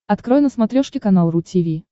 открой на смотрешке канал ру ти ви